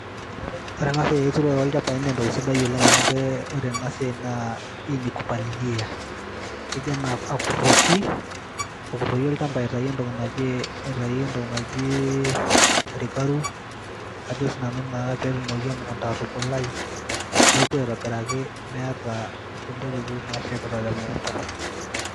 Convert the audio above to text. Ore ena siai ooturore olchambai naa entoki sidai oleng amu ore ena siai naa hii ni kupalilia keji ana akuroki olchamba aitayu entoki naji , aitayu entoki naji ,naji rikaru, Ajo naa sinanu petumoki emukunta atubulai Neku aitobiraki meeta kulie tokitin nashepita te mukunta .